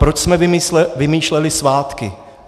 Proč jsme vymýšleli svátky?